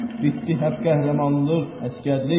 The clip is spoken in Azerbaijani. Bitdi hərb qəhrəmanlıq, əsgərlik.